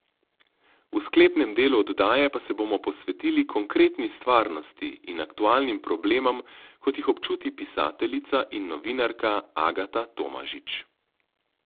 V sklepnem delu oddaje pa se bomo posvetili konkretni stvarnosti in aktualnim problemom, kot jih občuti pisateljica in novinarka Agata Tomažič.